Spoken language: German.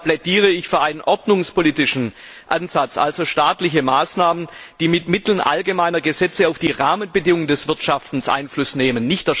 Deshalb plädiere ich für einen ordnungspolitischen Ansatz, also staatliche Maßnahmen, die mit Mitteln allgemeiner Gesetze auf die Rahmenbedingungen des Wirtschaftens Einfluss nehmen.